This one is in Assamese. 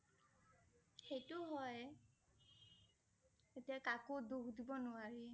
সেইটো হয় । এতিয়া কাকো দুখ দিব নোৱাৰি